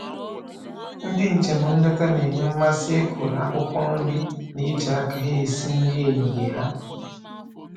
Ndị njem nleta na-enwe mmasị ịkụrụ akwụkwọ nri na iji aka ha esi nri ehihie ha